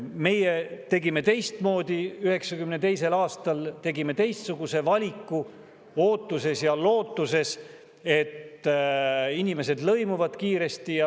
Meie tegime teistmoodi, 1992. aastal tegime teistsuguse valiku ootuses ja lootuses, et inimesed lõimuvad kiiresti.